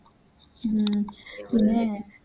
ഉം പിന്നെ